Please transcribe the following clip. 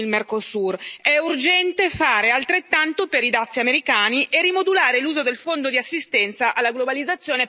È urgente fare altrettanto per i dazi americani e rimodulare l'uso del Fondo di assistenza alla globalizzazione per aiutare le imprese.